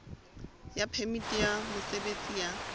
ya phemiti ya mosebetsi ya